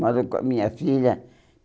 Moro com a minha filha.